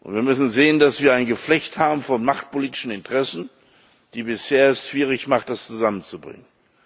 Wir müssen sehen, dass wir ein Geflecht von machtpolitischen Interessen haben, die es bisher schwierig machen, das zusammenzubringen.